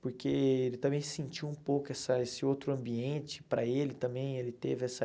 Porque ele também sentiu um pouco essa esse outro ambiente para ele também, ele teve essa...